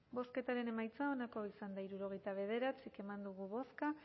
bozketaren emaitza onako izan da hirurogeita bederatzi eman dugu bozka